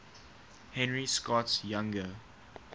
henry scott's younger